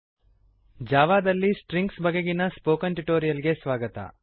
ಜಾವದಲ್ಲಿ strings strings ಬಗೆಗಿನ spoken tutorial ಗೆ ಸ್ವಾಗತ